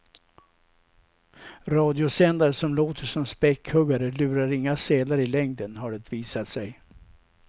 Radiosändare som låter som späckhuggare lurar inga sälar i längden, har det visat sig.